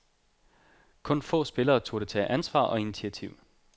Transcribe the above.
Kun få spillere turde tage ansvar og initiativ.